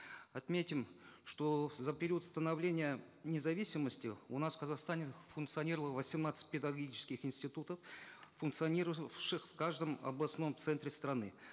отметим что за период становления независимости у нас в казахстане функционировало восемнадцать педагогических институтов функционировавших в каждом областном центре страны